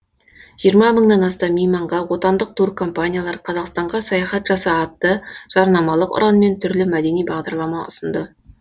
жиырма мыңнан астам мейманға отандық туркомпаниялар қазақстанға саяхат жаса атты жарнамалық ұранмен түрлі мәдени бағдарлама ұсынды